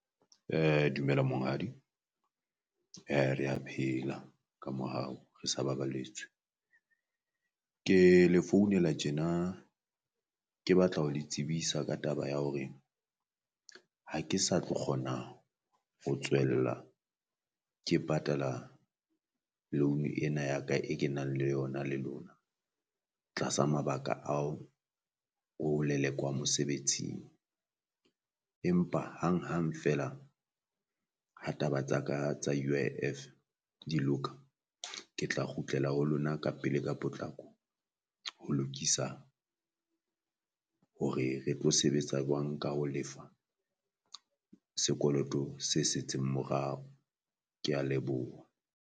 [um Dumela monghadi rea phela ka mohau re sa baballetswe, ke le founela tjena, ke batla ho le tsebisa ka taba ya hore ha ke sa tlo kgona ho tswella ke patala loan ena ya ka e kenang le yona le lona tlasa mabaka ao o lelekwa mosebetsing. Empa hanghang feela ha taba tsaka tsa U_I_F di loka ke tla kgutlela ho lona ka pele ka potlako ho lokisa hore re tlo sebetsa jwang ka ho lefa sekoloto se setseng morao, kea leboha.